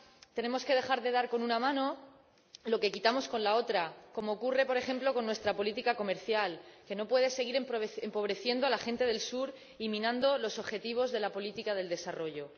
Tenemos que dejar de dar con una mano lo que quitamos con la otra, como ocurre, por ejemplo, con nuestra política comercial, que no puede seguir empobreciendo a la gente del Sur y minando los objetivos de la política de desarrollo.